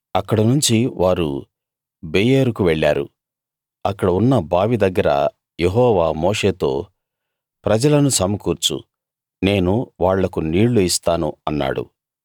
అక్కడనుంచి వారు బెయేరుకు వెళ్ళారు అక్కడ ఉన్న బావి దగ్గర యెహోవా మోషేతో ప్రజలను సమకూర్చు నేను వాళ్లకు నీళ్ళు ఇస్తాను అన్నాడు